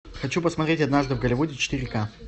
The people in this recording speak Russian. хочу посмотреть однажды в голливуде четыре ка